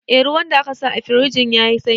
Eh, ruwan da aka sa a firjin ya yi sanyi